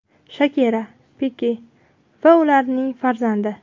Shakira, Pike va ularning farzandi.